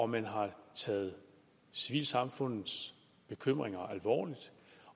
man har taget civilsamfundets bekymringer alvorligt